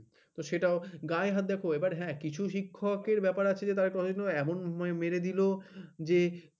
হম তো সেটাও গায়ে হাত দেওয়া হ্যাঁ কিছু শিক্ষকের ব্যাপার আছে তাদের এমন মেরে দিল যে